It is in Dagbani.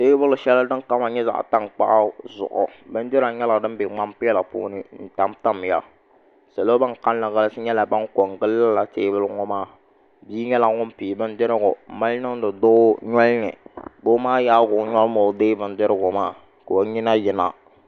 Teebuli shɛli din kama nyɛ zaɣ' tankpaɣu zuɣu bindira nyɛla din be ŋman' piɛla puuni n-tamtamya salo ban kalinli galisi nyɛla ban ko n-gili lala teebuli ŋɔ maa bia nyɛla ŋun pii bindirigu m-mali niŋdi doo noli ni doo maa yaai o noli ni o deei bindirigu maa ka o nyina yina